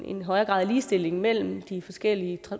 en højere grad af ligestilling mellem de forskellige